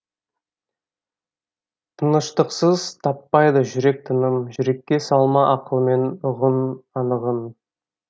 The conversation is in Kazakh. тыныштықсыз таппайды жүрек тыным жүрекке салма ақылмен ұғын анығын